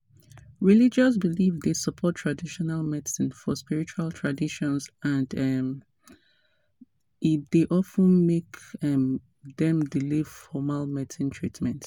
religious belief dey support traditional medicine for spiritual traditions and um e dey of ten make um dem delay formal medical treatment.